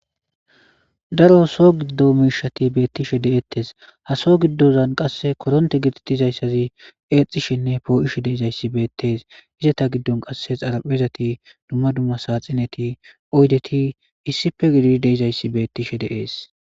Daro so giddo miishati beettishe de'ettes ha so giddozan qasse koronte gititizayssazi eexxishenne poo'ishe deizayssi beettees izata giddon qasse xaraphezati dumma dumma sa xineti oydeti issife gidi deizayssi beettishe de'ees